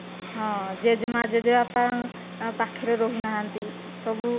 ହଁ, ଜେଜେ ମା ଜେଜେବାପା ଆଉ ପାଖରେ ରହୁନାହାନ୍ତି ସବୁ